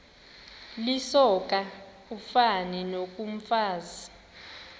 lisoka ufani nokomfazi